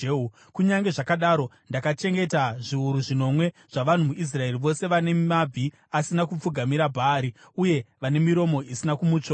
Kunyange zvakadaro, ndakachengeta zviuru zvinomwe zvavanhu muIsraeri, vose vane mabvi asina kupfugamira Bhaari uye vane miromo isina kumutsvoda.”